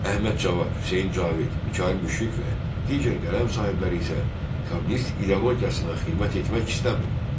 Əhməd Cavad, Hüseyn Cavid, Mikayıl Müşfiq və digər qələm sahibləri isə kommunist ideologiyasına xidmət etmək istəmir.